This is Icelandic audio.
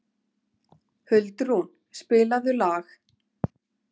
Huldrún, spilaðu lag.